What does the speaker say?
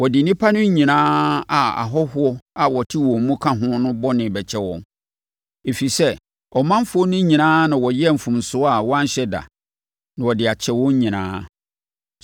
Wɔde nnipa no nyinaa a ahɔhoɔ a wɔte wɔn mu ka ho no bɔne bɛkyɛ wɔn, ɛfiri sɛ, ɔmanfoɔ no nyinaa na wɔyɛɛ mfomsoɔ a wɔanhyɛ da; na wɔde akyɛ wɔn nyinaa.